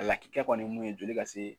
A lakika kɔni ye mun ye joli ka se